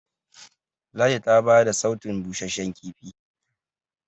ladi ta bada sautun busasshen kifi